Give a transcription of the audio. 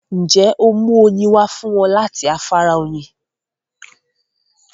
Ǹjẹ́ óò mú oyin wá fún wọn láti afárá Oyin?